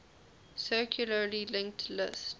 circularly linked list